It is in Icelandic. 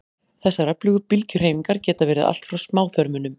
þessar öfugu bylgjuhreyfingar geta verið allt frá smáþörmunum